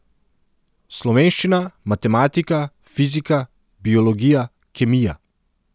Slovenščina, matematika, fizika, biologija, kemija.